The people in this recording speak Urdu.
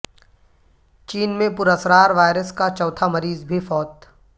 چین میں پراسرار وائرس کا چوتھا مریض بھی فوت